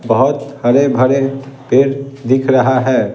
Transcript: बहुत हरे भरे पेड़ दिख रहा है ।